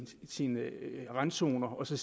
sine randzoner og ser